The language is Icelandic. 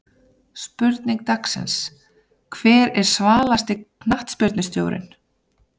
Spurning dagsins: Hver er svalasti knattspyrnustjórinn?